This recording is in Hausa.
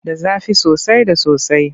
Da zafi soasai da sosai.